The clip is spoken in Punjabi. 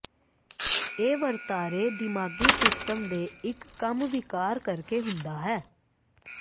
ਇਹ ਵਰਤਾਰੇ ਦਿਮਾਗੀ ਸਿਸਟਮ ਦੇ ਇੱਕ ਕੰਮ ਵਿਕਾਰ ਕਰਕੇ ਹੁੰਦਾ ਹੈ